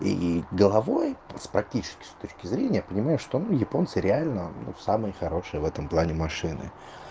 и головой с практической точки зрения понимаю что японцы реально но самые хорошие в этом плане машины